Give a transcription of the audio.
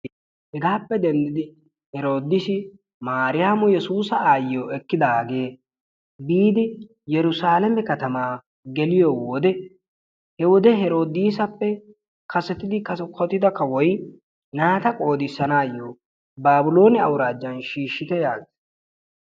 Hegaappe denddi heroodiisi mariyaamo yesuusa ayyiyoo ekkidagee yiidi yerusaleeme katamaa geliyoo wode he wode heroodisappe kasettida kawotida naata qoodissanayoo baabiloone awuraajan shiishitte yaagiis.